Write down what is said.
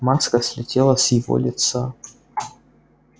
маска слетела с его лица